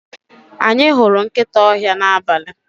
Anyi huru nkita ohia na abali.